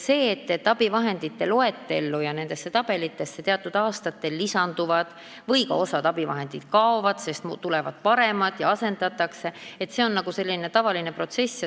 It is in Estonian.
See, et abivahendite loetellu ja nendesse tabelitesse teatud abivahendid aastate jooksul lisanduvad või ka osa abivahendeid sealt kaovad, sest tulevad paremad ja abivahendeid asendatakse, on tavaline protsess.